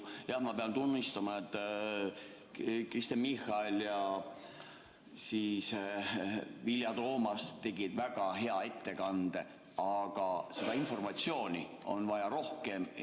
Jah, ma pean tunnistama, et Kristen Michal ja Vilja Toomast tegid väga hea ettekande, aga seda informatsiooni on vaja rohkem.